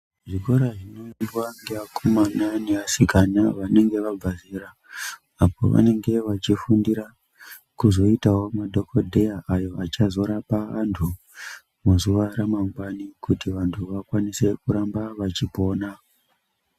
Zvikora zvinoendwa nevakomana nevasikana vanenge vabva zera apo pavanenge vachifundira kuzoitawo madhokodheya awo achazoraoa vantu muzuwa manwgwani kuti vantu vakwanise kuramba vachopona.